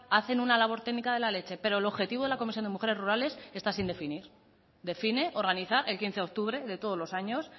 hacen una labor técnica de la leche pero el objetivo de la comisión de mujeres rurales está sin definir define organizar el quince de octubre de todos los años